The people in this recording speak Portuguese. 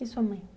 E sua mãe?